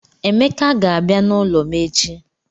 Emeka ga-abia n'ulo m echi